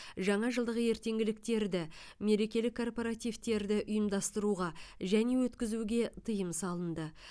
жаңажылдық ертеңгіліктерді мерекелік корпоративтерді ұйымдастыруға және өткізуге тыйым салынды